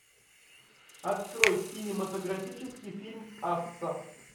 открой кинематографический фильм асса